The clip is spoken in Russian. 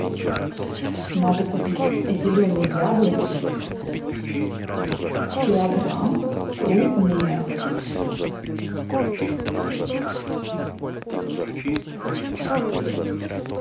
надо купить зеленые яблоки килограмм крупные